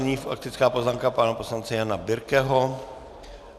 Nyní faktická poznámka pana poslance Jana Birkeho.